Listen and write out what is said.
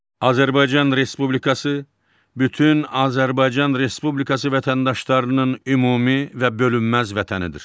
Azərbaycan Respublikası bütün Azərbaycan Respublikası vətəndaşlarının ümumi və bölünməz vətənidir.